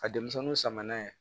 A denmisɛnninw sama n'a ye